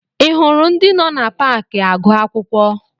Ị hụrụ ndị nọ na paakị agụ akwụkwọ?